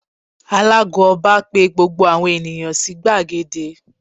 Alàago Ọba pe gbogbo àwọn ènìyàn sí gbàgede